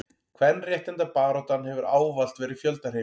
kvenréttindabaráttan hefur ávallt verið fjöldahreyfing